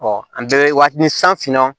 an bɛ wa ni san finna